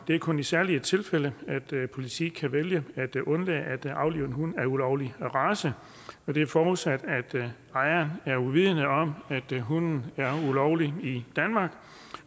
det er kun i særlige tilfælde at politiet kan vælge at undlade at aflive en hund af ulovlig race og det er forudsat at ejeren er uvidende om at hunden er ulovlig i danmark